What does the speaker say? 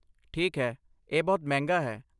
ਠੀਕ ਹੈ, ਇਹ ਬਹੁਤ ਮਹਿੰਗਾ ਹੈ।